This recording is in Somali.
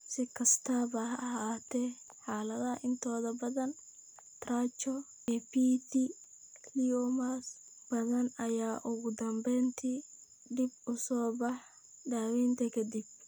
Si kastaba ha ahaatee, xaaladaha intooda badan, trichoepitheliomas badan ayaa ugu dambeyntii dib u soo baxa daaweynta ka dib.